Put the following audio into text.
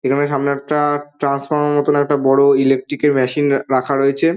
এখানে সামনে একটা ট্রান্সফরমার মতো একটা বড়ো ইলেক্টিক -এর মেশিন আ রয়েছে ।